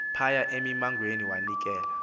phaya emimangweni wanikela